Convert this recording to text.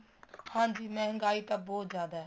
ਹਾਂਜੀ ਮਹਿੰਗਾਈ ਤਾਂ ਬਹੁਤ ਜਿਆਦਾ ਏ